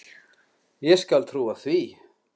Ég skal trúa því.